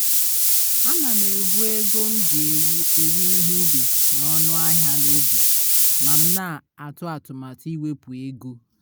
ana m ebu ego m ji ewo ihe ubi na ọnụ ahịa na obi ma m na atụ atụmatụ iwepu ego